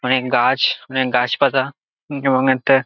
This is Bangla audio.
অনেক গাছ অনেক গাছ পালা এবং এতে--